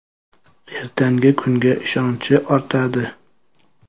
Ertangi kunga ishonchi ortadi.